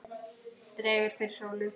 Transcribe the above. Dregur fyrir sólu